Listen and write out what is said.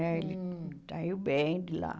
né? Ele saiu bem de lá.